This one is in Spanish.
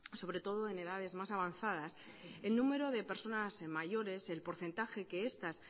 sobre todo en edades más avanzadas el número de personas mayores el porcentaje que estas